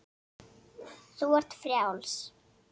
Þú ert frjáls.